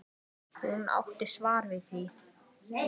Hún átti svar við því.